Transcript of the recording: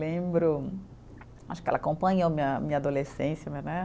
Lembro, acho que ela acompanhou minha minha adolescência, né?